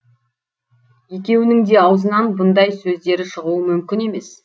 екеуінің де аузынан бұндай сөздері шығуы мүмкін емес